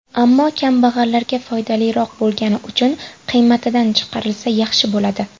Ammo kambag‘allarga foydaliroq bo‘lgani uchun qiymatidan chiqarilsa, yaxshi bo‘ladi.